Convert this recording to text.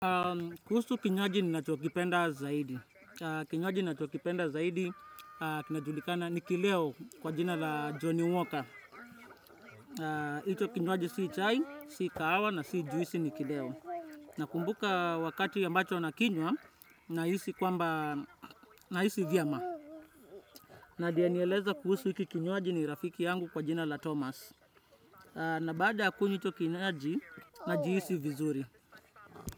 Kuhusu kinywaji ninachokipenda zaidi. Kinywaji nachokipenda zaidi kinajulikana ni kileo kwa jina la Johnny Walker. Hicho kinywaji si chai, si kahawa na si juisi ni kileo. Nakumbuka wakati ambacho na kinywa na hisi kwamba na hisi vyema. Na aliyenieleza kuhusu hiki kinywaji ni rafiki yangu kwa jina la Thomas. Na baada ya kunywa hicho kinywaji na jihisi vizuri.